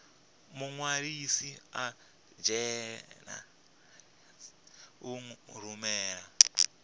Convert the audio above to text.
muṅwalisi i anzela u rumela